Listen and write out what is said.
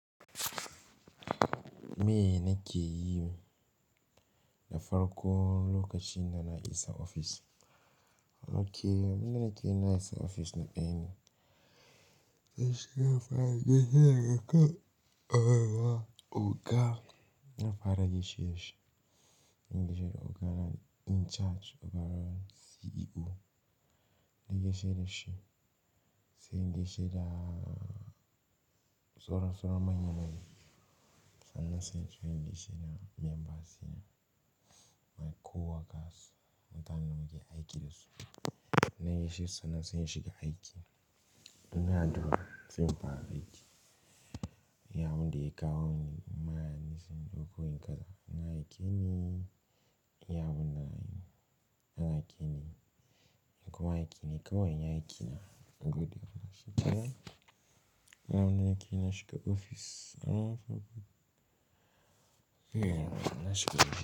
Me nike yi na farkon lokacin da na isa ofis. Okay, muna nike na isa ofis na ƙani. Zan fara gaishe shi, in gaishe da oga na, in charge, oga naz CEO. Na gaishe da shi, sai in gaishe da saura-sauron manya-manya. Sannan sai in gaishe da membansa mai kowa kasu. Mutaninmu da muke aiki da su. Na gaishe su sannan sai in shiga aiki. Ni na duba sai in fara aiki. Ya wanda ya kawo ni ma'a nisan doko in kaza. Na yi kenan, ya bunai. An yi kenan. In kuma aiki ne kawai na yi aiki na. Godiya. Shike nan wane nike na shiga ofis. An yi farko. Eh, na shiga ofis.